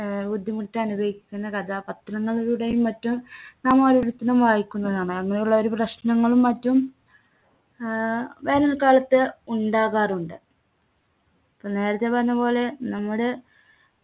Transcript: ഏർ ബുദ്ധിമുട്ട് അനുഭവിക്കുന്ന കഥ പത്രങ്ങളിലൂടെയും മറ്റും നാം ഓരോരുത്തരും വായിക്കുന്നതാണ് അങ്ങനെയുള്ള ഒരു പ്രശ്‌നങ്ങളും മറ്റും ഏർ വേനൽക്കാലത്ത് ഉണ്ടാകാറുണ്ട് പൊ നേരത്തെ പറഞ്ഞപോലെ നമ്മുടെ